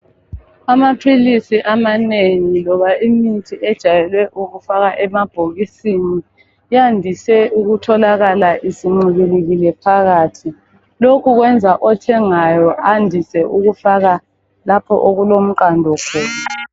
Amaphilisi amanengi loba imithi ejayele ukufakwa emabhokisini kuyandise ukutholakala isincibilikile phakathi. Lokhu kwenza othengayo andise ukufaka lapho okulomqando khona.